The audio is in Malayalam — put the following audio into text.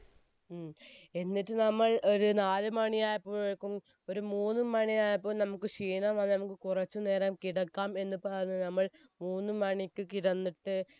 ഉം എന്നിട്ട് നമ്മൾ ഒരു നാലുമണിയായപ്പോയേക്കും ഒരു മൂന്നുമണിയായപ്പോ നമ്മുക്ക് ക്ഷീണം വന്നു നമ്മുക്ക് കുറച്ച് നേരം കിടക്കാം എന്ന് പറഞ്ഞു നമ്മൾ മൂന്നുമണിക്ക് കിടന്നിട്ട്